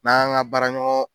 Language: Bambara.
N'an y'an ka baaraɲɔgɔn